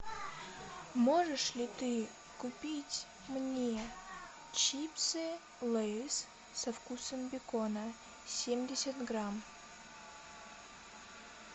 можешь ли ты купить мне чипсы лейс со вкусом бекона семьдесят грамм